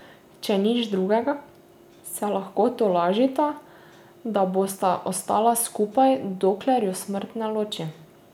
Če nič drugega, se lahko tolažita, da bosta ostala skupaj, dokler ju smrt ne loči.